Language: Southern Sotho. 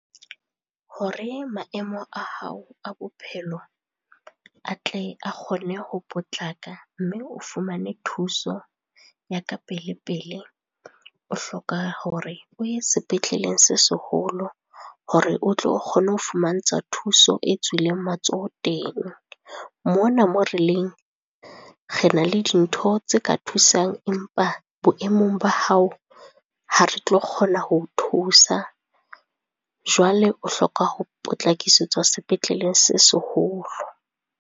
Hore maemo a hao a bophelo, a tle a kgone ho potlaka mme o fumane thuso ya ka pele-pele, o hloka hore o ye sepetleleng se seholo hore o tlo kgona ho fumantshwa thuso e tswileng matsoho teng mona. Mona moo releng, re na le dintho tse ka thusang empa boemong ba hao ha re tlo kgona ho thusa. Jwale o hloka ho potlakisetswa sepetleleng se seholo.